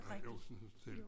Ja Josefsens Hotel